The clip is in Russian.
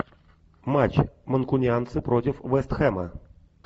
матч манкунианцы против вест хэма